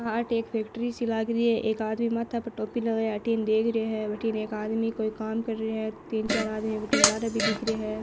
एक फैक्ट्री सी लागरी हैएक आदमी माथे पर टोपी लगाया आठीन देखरो है बाठने एक आदमी कोई काम कर रहो है तीन चार आदमी लाते भी दिखरा है।